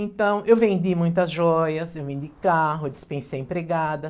Então eu vendi muitas joias, eu vendi carro, eu dispensei empregada.